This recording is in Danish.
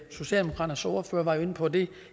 socialdemokraternes ordfører var inde på det